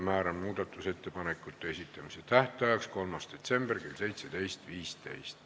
Määran muudatusettepanekute esitamise tähtajaks 3. detsembri kell 17.15.